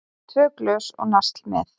Tvö glös og nasl með.